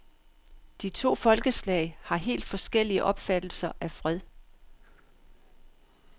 De to folkeslag har helt forskellige opfattelser af fred.